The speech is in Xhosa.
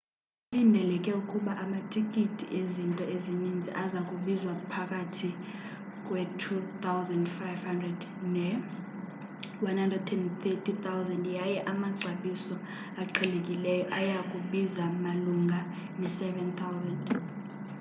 kulindeleke ukuba amatikiti ezinto ezininzi aza kubiza phakathi kwe-¥2,500 ne-¥130,000 yaye amaxabiso aqhelekileyo aya kubiza malunga ne-¥7,000